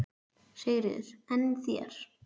Sigríður: En þér?